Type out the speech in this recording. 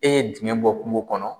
E ye dingɛn bɔ kungo kɔnɔ.